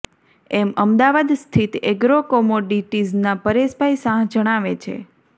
એમ અમદાવાદ સ્થિત એગ્રો કોમોડિટીઝના પરેશભાઈ શાહ જણાવે છે